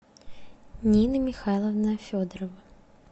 нина михайловна федорова